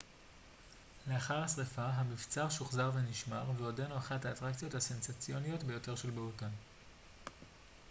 לאחר השריפה המבצר שוחזר ונשמר ועודנו אחת האטרקציות הסנסציוניות ביותר של בהוטן